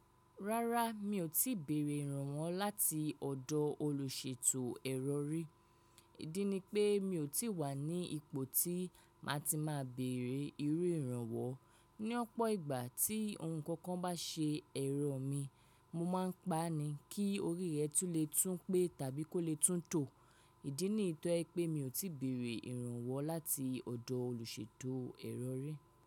Rárá, mi ò tí bèrè ìrànwọ́ láti ọ̀dọ̀ olùṣètò ẹ̀rọ rí. Ìdí ni pé mi ò tí wà ní ipò tí má ti máa bèrè irú ìrànwọ́. Ní ọ̀pọ̀ ìgbà tí ohun kan bá ṣe ẹ̀rọ mi, mo máa ń pa á ni kí orí rẹ̀ tún le tún pé tàbí kó le tún tò. Ìdí nì yí tó jẹ pé mi ò tí bèrè ìrànwọ́ láti ọ̀dọ̀ olùṣètò ẹ̀rọ rí.